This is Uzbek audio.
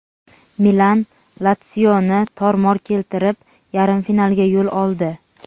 "Milan" "Latsio"ni tor-mor keltirib, yarim finalga yo‘l oldi.